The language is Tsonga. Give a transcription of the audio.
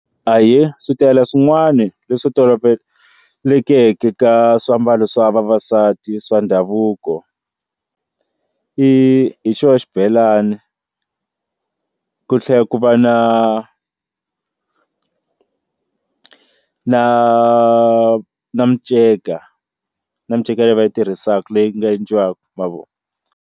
Ahee, switayele swin'wana leswi tolovelekeke ka swiambalo swa vavasati swa ndhavuko hi xo xibelani ku tlhela ku va na na na miceka na miceka leyi va yi tirhisaka leyi nga endliwaka ma vo.